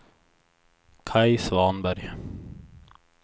Kaj Svanberg